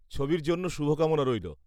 -ছবির জন্য শুভকামনা রইল।